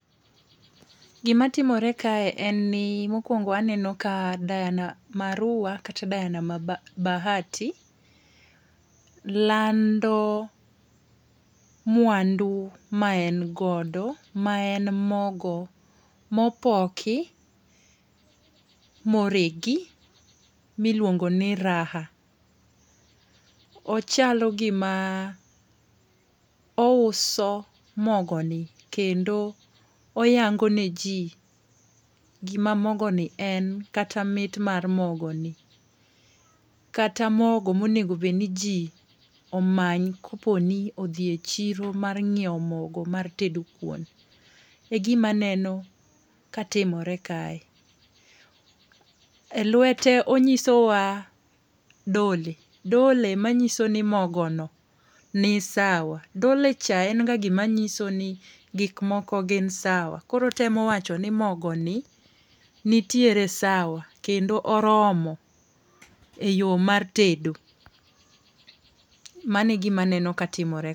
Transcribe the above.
Gimatimore kae en ni mokwongo aneno ka Diana Marua kata Diana Bahati lando mwandu ma en godo ma en mogo mopoki moregi miluongoni Raha. Ochalo gima ouso mogoni kendo oyangoneji gima mogoni en kata mit mar mogoni, kata mogo monego obed ni ji omany koponi odhi e chiro mar nyiewo mogo mar tedo kuon. E gimaneno ka timre kae. E lwete onyisowa dole, dole manyiso ni mogo no ni sawa. Dolecha en ga gima nyiso ni gik moko gin sawa. Koro otemo wacho ni mogoni nitiere sawa kendo oromo e yo mar tedo. Mano e gimaneno ka timore.